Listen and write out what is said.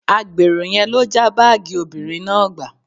Agbèrò yẹn ló já báàgì obìnrin náà gbà